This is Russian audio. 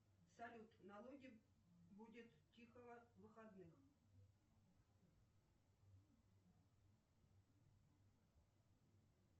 салют налоги будет тихо выходных